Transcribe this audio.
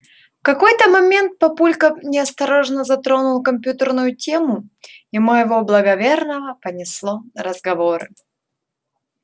в какой-то момент папулька неосторожно затронул компьютерную тему и моего благоверного понесло на разговоры